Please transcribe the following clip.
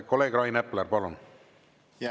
Kolleeg Rain Epler, palun!